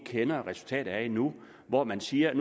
kender resultatet af endnu og hvor man siger at